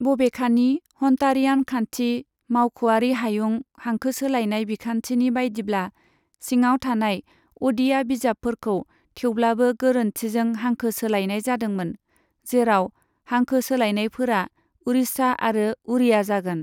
बबेखानि, हन्टारियान खान्थि, मावख'आरि हायुं हांखो सोलायनाय बिखान्थिनि बायदिब्ला सिङाव थानाय अ'डिया बिजाबफोरखौ थेवब्लाबो गोरोन्थिजों हांखो सोलायनाय जादोंमोन, जेराव हांखो सोलायनायफोरा उड़िशा आरो उड़िया जागोन।